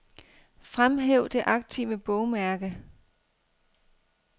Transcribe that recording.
Fremhæv det aktive bogmærke.